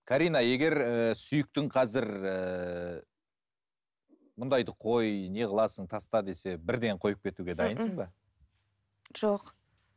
карина егер сүйіктің қазір ііі мұндайды қой не қыласың таста десе бірден қойып кетуге дайынсың ба жоқ